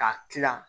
K'a tila